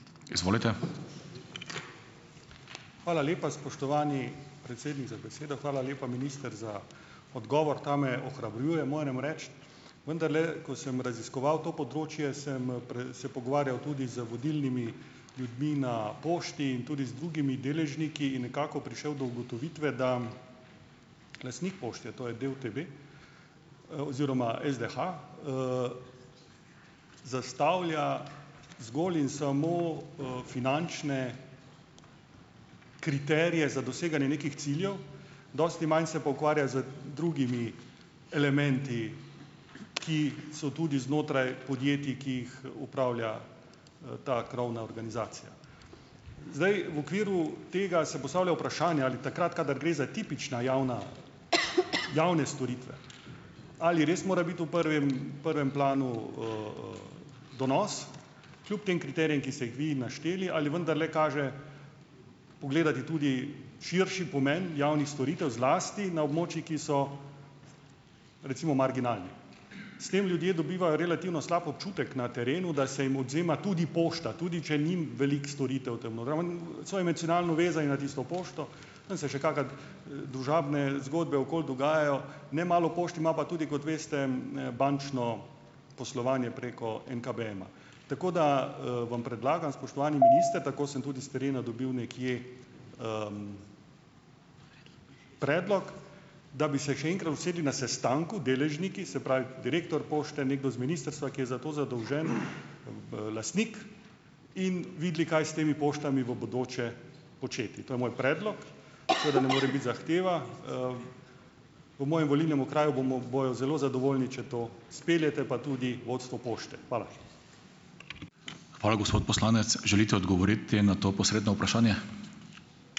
Hvala lepa, spoštovani predsednik, za besedo. Hvala lepa, minister, za odgovor. Ta me ohrabruje, moram reči. Vendarle, ko sem raziskoval to področje sem, se pogovarjal tudi z vodilnimi ljudmi na pošti in tudi z drugimi deležniki. In nekako prišel do ugotovitve, da lastnik pošti, to je DUTB, oziroma SDH, zastavlja zgolj in samo, finančne kriterije za doseganje nekih ciljev. Dosti manj se pa ukvarja z drugimi elementi, ki so tudi znotraj podjetij, ki jih upravlja, ta krovna organizacija. Zdaj, v okviru tega se postavlja vprašanje, ali takrat, kadar gre za tipična javna, javne storitve, ali res mora biti v prvem, prvem planu, donos, kljub tem kriterijem, ki se jih vi našteli, ali vendarle kaže pogledati tudi širši pomeni javnih storitev, zlasti na območjih, ki so, recimo, marginalni. S tem ljudje dobivajo relativno slab občutek na terenu, da se jim odvzema tudi pošta, tudi če ni, veliko storitev tam noter, so emocionalno vezani na tisto pošto, tam se še kaka, družabne zgodbe okoli dogajajo. Nemalo pošt ima pa tudi, kot veste, ne, bančno poslovanje preko NKBM-a. Tako, da, vam predlagam, spoštovani minister, tako sem tudi s terena dobil nekje, predlog, da bi se še enkrat usedli na sestanku deležniki, se pravi, direktor pošte, nekdo z ministrstva, ki je za to zadolžen, b lastnik in videli, kaj s temi poštami v bodoče početi. To je moj predlog. Seveda ne more biti zahteva. V mojem volilnem okraju bomo, bojo zelo zadovoljni, če to speljete, pa tudi vodstvo pošte. Hvala.